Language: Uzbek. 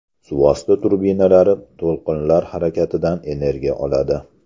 Suvosti trubinalari to‘lqinlar harakatidan energiya oladi.